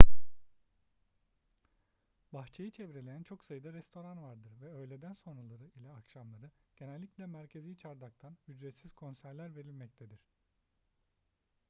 bahçeyi çevreleyen çok sayıda restoran vardır ve öğleden sonraları ile akşamları genellikle merkezi çardaktan ücretsiz konserler verilmektedir